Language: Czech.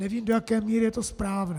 Nevím, do jaké míry je to správné.